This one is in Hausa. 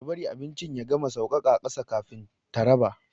Ta bari abincin ya gama sauƙaƙa ƙasa kafin ta raba.